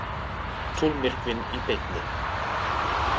Tunglmyrkvinn í beinni